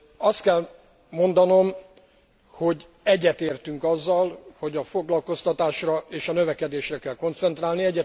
Azt kell mondanom, hogy egyetértünk azzal, hogy a foglalkoztatásra és a növekedésre kell koncentrálni.